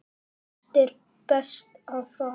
Hvert er best að fara?